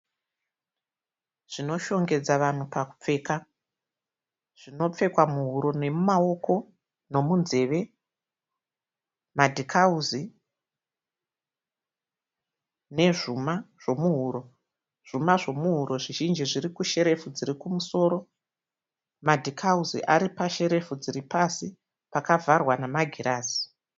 Zvinoshongedza vanhu pakupfeka. Zvinopfekwa muhuro nemumaoko nemunzeve, madhikauzi nezvuma zvemuhuro. Zvuma zvemuhuro zvizhinji zviri kusherefu dziri kumusoro. Madhikauzi ari pasherefu dziri pasi pakavharwa nemagirazi.